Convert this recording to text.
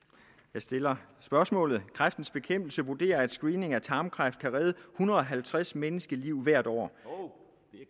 jeg stiller spørgsmålet kræftens bekæmpelse vurderer at screening for tarmkræft kan redde en hundrede og halvtreds menneskeliv hvert år